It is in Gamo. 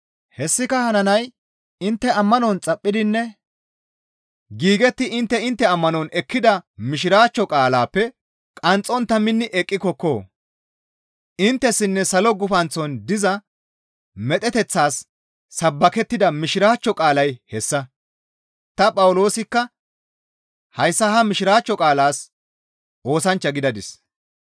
Hessika hananay intte ammanon xaphphidinne giigetti intte intte ammanon ekkida mishiraachcho qaalaappe qaaxxontta minni eqqikonna; inttessinne salo gufanththon diza medheteththaas sabbakettida Mishiraachcho qaalay hessa. Ta Phawuloosikka hayssa ha mishiraachcho qaalaas oosanchcha gidadis.